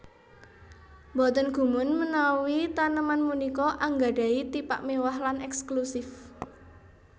Boten gumun menawi taneman punika anggadhahi tipak méwah lan èkslusif